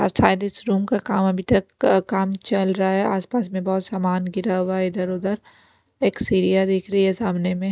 शायद इस रूम का काम अभी तक काम चल रहा है आसपास में बहुत सामान गिरा हुआ है इधर-उधर एक सीरिया दिख रही है सामने में--